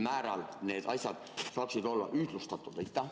Kas neid asju saaks kuidagi ühtlustada?